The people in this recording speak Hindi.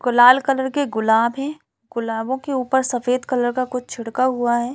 को लाल कलर के गुलाब है गुलाबों के ऊपर सफ़ेद कलर का कुछ छिड़का हुआ हैं ।